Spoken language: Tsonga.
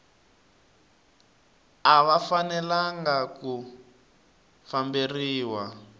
a va fanelanga ku famberiwa